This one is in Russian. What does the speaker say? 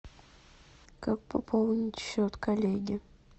как пополнить счет коллеге